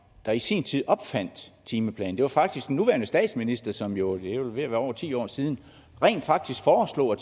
der i sin tid opfandt timeplanen det var faktisk den nuværende statsminister som jo det er vel ved at være over ti år siden rent faktisk foreslog at